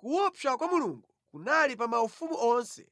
Kuopsa kwa Mulungu kunali pa maufumu onse